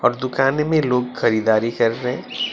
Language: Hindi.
और दुकान में लोग खरीदारी कर रहे--